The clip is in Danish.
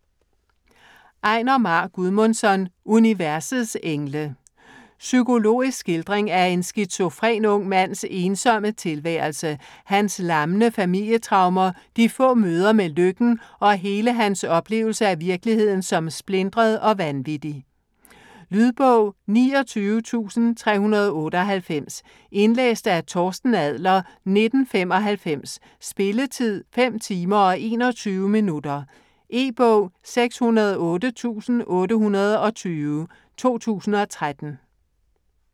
Einar Már Guðmundsson: Universets engle Psykologisk skildring af en skizofren ung mands ensomme tilværelse, hans lammende familietraumer, de få møder med lykken og hele hans oplevelse af virkeligheden som splintret og vanvittig. Lydbog 29398 Indlæst af Torsten Adler, 1995. Spilletid: 5 timer, 21 minutter. E-bog 608820 2013.